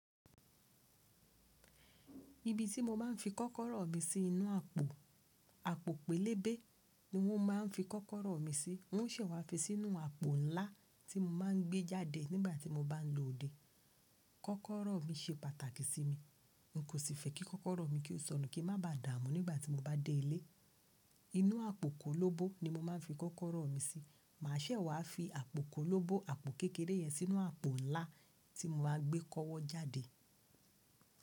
Ibi tí mo máa ń fi kọ́kọ́rọ́ mi sí inú àpò, àpò pélébé ni wọ́n máa ń fi kọ́kọ́rọ́ mi sí. Wọ́n ṣẹ̀ wá fi sínú àpò ńlá tí mo máa ń gbé jáde nígbà tí mo bá ń lo òde. Kọ́kọ́rọ́ mi ṣe pàtàkì sí mi. N kò sì fẹ́ kí kọ́kọ́rọ́ mi kí ó sọnù kí a má ba dààmú nígbà tí mo bá dé ilé. Inú àpò kólóbó ni mo máa ń fi kọ́kọ́rọ́ mi sí. Mà ṣẹ̀ wá fi àpò kólóbó àpò kékeré yẹn sínú àpò ńlá tí mo máa gbé kọ́wọ́ jáde.